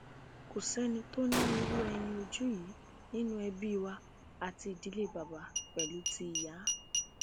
kò sẹni tó ní irú ẹyin ojú yìí nínú ẹbí wa àti ìdílé bàbá pẹlú ti ìyá